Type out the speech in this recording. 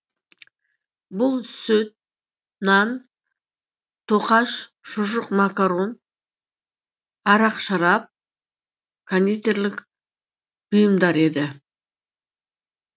бұл сүт нан тоқаш шұжық макарон арақ шарап кондитерлік бұйымдар еді